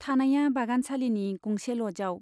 थानाइया बागानसालीनि गंसे ल'जआव।